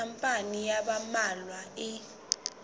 khampani ya ba mmalwa e